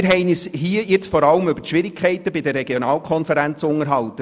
Hier haben wir uns vor allem über die Schwierigkeiten bei den Regionalkonferenzen unterhalten.